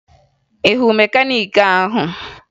Ị hụrụ mekaniiki ahụ?